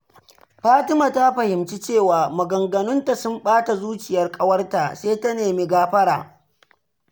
Fatima ta fahimci cewa maganganunta sun ɓata zuciyar ƙawarta, sai ta nemi gafara.